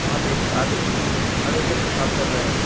यहां पे एक आदमी खड़े होकर पेशाब कर रहा है।